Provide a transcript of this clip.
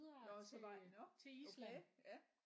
Nåh så var I nåh okay ja